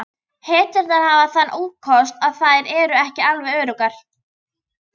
Hetturnar hafa þann ókost að þær eru ekki alveg öruggar.